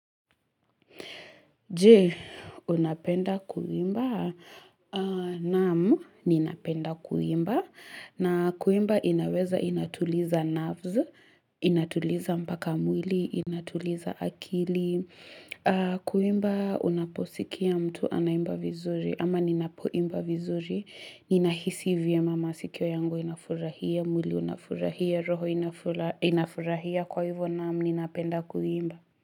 Je, unapenda kuimba. Naamu, ninapenda kuimba. Na kuimba inaweza inatuliza nerves, inatuliza mpaka mwili, inatuliza akili. Kuimba, unaposikia mtu anaimba vizuri. Ama ninapoimba vizuri, ninahisi vyema masikio yangu inafurahia, mwili unafurahia, roho inafu inafurahia. Kwa hivyo namu, ninapenda kuimba.